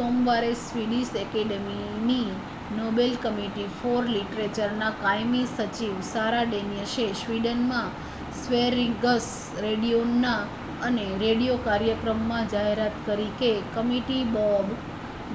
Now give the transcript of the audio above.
સોમવારે Swedish Academy ની Nobel Committee for Literature ના કાયમી સચિવ સારા ડેનિયસે સ્વિડન માં સ્વેરિગસ રેડિયોના એક રેડિયો કાર્યક્રમ માં જાહેરાત કરી કે કમિટી બોબ